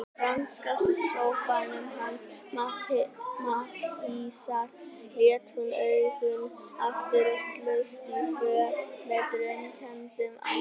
Í franska sófanum hans Matthíasar lét hún augun aftur og slóst í för með draumkenndum ættingjum.